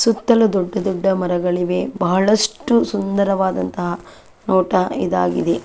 ಸುತ್ತಲೂ ದೊಡ್ಡ ದೊಡ್ಡ ಮರಗಳಿವೆ ಬಹಳಷ್ಟು ಸುಂದವಾದಂತಹ ನೋಟ ಇದಾಗಿದೆ .